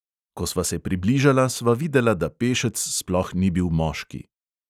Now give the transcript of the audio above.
Ko sva se približala, sva videla, da pešec sploh ni bil moški.